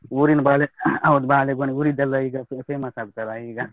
ಉರಿನ್ಬಾಳೆ, ಹೌದು ಬಾಳೆಗೊನೆ ಊರಿದೆಲ್ಲ ಈಗ famous ಆಗ್ತದಲ್ಲಾ ಈಗ.